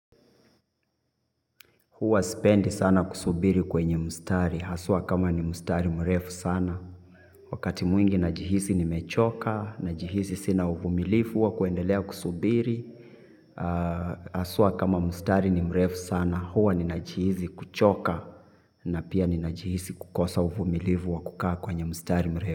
Huwa spendi sana kusubiri kwenye mustari, hasua kama ni mustari mrefu sana. Wakati mwingi najihisi nimechoka, najihisi sina uvumilifu, wa kuendelea kusubiri, hasua kama mustari ni mrefu sana, huwa ni najihisi kuchoka, na pia ni najihisi kukosa uvumilifu wa kukaa kwenye mustari mrefu.